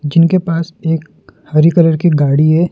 जिनके पास एक हरी कलर की गाड़ी है।